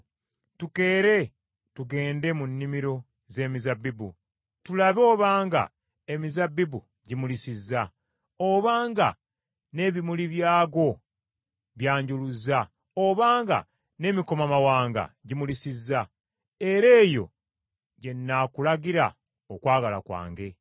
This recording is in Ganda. Tukeere tugende mu nnimiro z’emizabbibu, tulabe obanga emizabbibu gimulisizza, obanga n’ebimuli byagwo byanjuluzza, obanga n’emikomamawanga gimulisizza, era eyo gye nnaakulagira okwagala kwange.